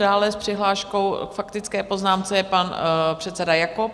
Dále s přihláškou k faktické poznámce je pan předseda Jakob.